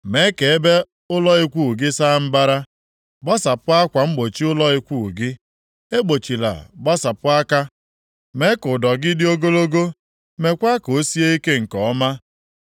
“Mee ka ebe ụlọ ikwu gị saa mbara, gbasapụ akwa mgbochi ụlọ ikwu gị, egbochila gbasapụ aka; mee ka ụdọ gị dị ogologo, meekwa ka o sie ike nke ọma.